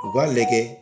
U b'a lajɛ